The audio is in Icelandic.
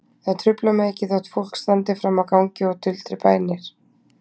Það truflar mig ekki þótt fólk standi frammi á gangi og tuldri bænir.